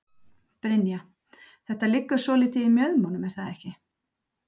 Brynja: Þetta liggur svolítið í mjöðmunum er það ekki?